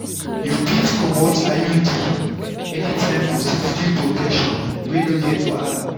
you fit comot iud anytime for steady protection wey no get wahala.